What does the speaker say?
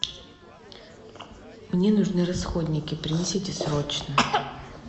мне нужны расходники принесите срочно